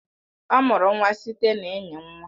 Ọ mụrụ nwa site na ịnyi nwa